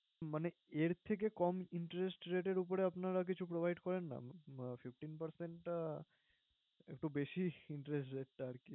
মানে এর থেকে কম interest rate এর উপরে আপনারা কিছু provide করেন না? fifteen percent টা একটু বেশিই interest rate টা আরকি